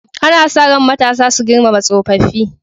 Ana sa ran matasa su girmama tsofaffi.